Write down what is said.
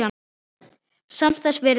Samt þess virði.